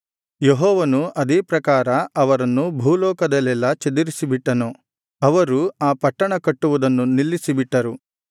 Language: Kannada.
ಯೆಹೋವನು ಅದೇ ಪ್ರಕಾರ ಅವರನ್ನು ಭೂಲೋಕದಲ್ಲೆಲ್ಲಾ ಚದರಿಸಿ ಬಿಟ್ಟನು ಅವರು ಆ ಪಟ್ಟಣ ಕಟ್ಟುವುದನ್ನು ನಿಲ್ಲಿಸಿಬಿಟ್ಟರು